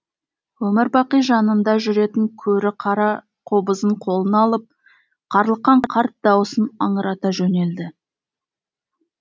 өмір бақи жанында жүретін көрі қара қобызын қолына алып қарлыққан қарт даусын аңырата жөнелді